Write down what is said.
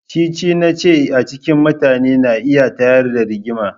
Cece-nace a cikin mutane yana iya tayar da Rigima.